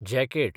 jacket